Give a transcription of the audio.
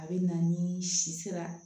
A bɛ na ni si sera